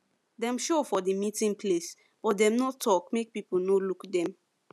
dem show for the meeting place but them no talk make people no look them